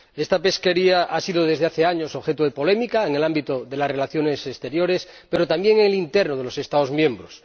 Esta pesquería ha sido, desde hace años, objeto de polémica en el ámbito de las relaciones exteriores, pero también en el ámbito interno de los Estados miembros.